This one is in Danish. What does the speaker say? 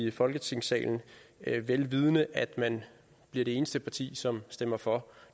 i folketingssalen vel vidende at man bliver det eneste parti som stemmer for